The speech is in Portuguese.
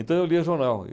Então, eu lia jornal.